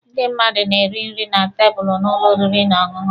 Ndị mmadụ na-eri nri na tebụlụ n'ụlọ oriri na ọṅụṅụ.